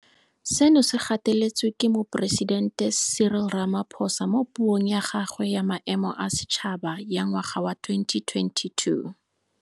Seno se gateletswe ke Moporesidente Cyril Ramaphosa mo Puong ya gagwe ya Maemo a Setšhaba ya ngwaga wa 2022.